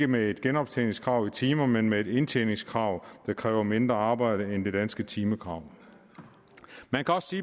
med et genoptjeningskrav i timer men med et indtjeningskrav der kræver mindre arbejde end det danske timekrav man kan også